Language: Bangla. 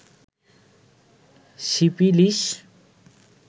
সিফিলিস